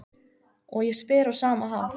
Og ég spyr á sama hátt